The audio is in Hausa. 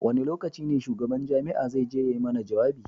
Wane lokacin ne shugaban jami'a zai je ya yi mana jawabi?